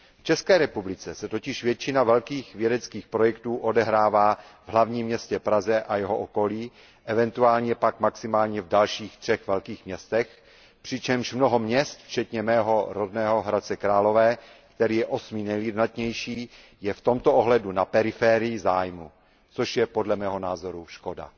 V České republice se totiž většina velkých vědeckých projektů odehrává v hlavním městě Praze a jeho okolí, eventuálně pak maximálně v dalších třech velkých městech, přičemž mnoho měst, včetně mého rodného Hradce Králové, který je osmým nejlidnatějším městem, je v tomto ohledu na periferii zájmu, což je podle mého názoru škoda.